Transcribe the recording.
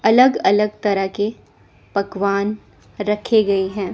अलग अलग तरह के पकवान रखे गई है।